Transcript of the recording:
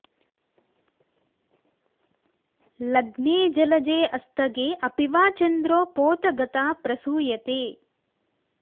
लग्ने जलजे अस्तगे अपि वा चन्द्रो पोत गता प्रसूयते